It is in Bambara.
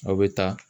Aw bɛ taa